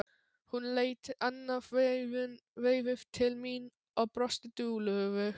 Hún leit annað veifið til mín og brosti dulúðugt.